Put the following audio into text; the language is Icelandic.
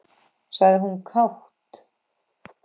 sagði hún kát.